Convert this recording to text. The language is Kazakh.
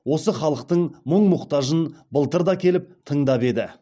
осы халықтың мұң мұқтажын былтыр да келіп тыңдап еді